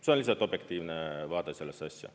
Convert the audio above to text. See on lihtsalt objektiivne vaade sellesse asja.